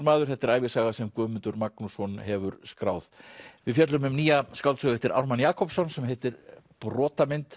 maður þetta er ævisaga sem Guðmundur Magnússon hefur skráð við fjöllum um nýja skáldsögu eftir Ármann Jakobsson sem heitir